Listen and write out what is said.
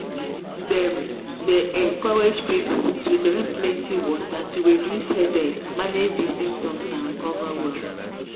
dem dey encourage people to drink plenty water to reduce headache manage manage di symptoms and recover well.